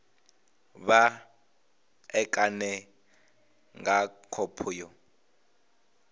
vha ṋekane nga khophi yo